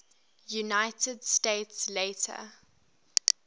united states later